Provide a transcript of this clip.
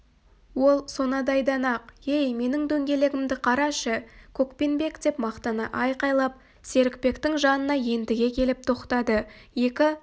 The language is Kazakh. ол сонадайдан-ақ ей менің дөңгелегімді карашы көкпенбек деп мақтана айқайлап серікбектің жанына ентіге келіп тоқтады екі